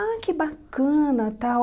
Ah, que bacana, tal.